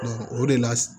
o de la